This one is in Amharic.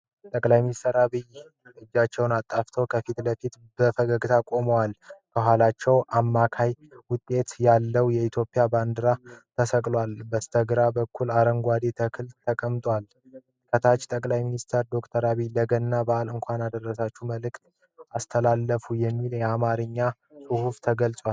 ጠ/ሚ አብይ እጆቹን አጣጥፎ ከፊት ለፊት በፈገግታ ቆሟል። ከኋላው የአማካይ መጠን ያለው የኢትዮጵያ ባንዲራ ተሰቅሏል። በስተግራ በኩል አረንጓዴ ተክል ተቀምጧል። ከታች "ጠ/ሚ አብይ (ዶ/ር) ለገና በአል የእንኳን አደረሳችሁ መልእክት አስተላለፉ" የሚል የአማርኛ ጽሑፍ ተጽፏል።